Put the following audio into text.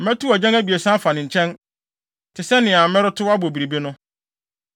Mɛtow agyan abiɛsa afa ne nkyɛn, te sɛ nea meretow abɔ biribi no.